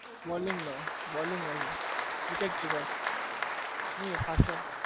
bowling નો bowling વી wicket keeper ની faster